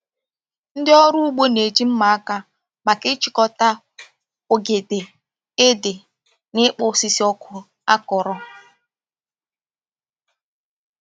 Ndị ọrụ ugbo na-eji mma aka maka ịchịkọta ogede, ede, na ịkpụ osisi ọkụ akọrọ